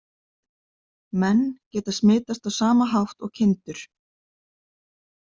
Menn geta smitast á sama hátt og kindur.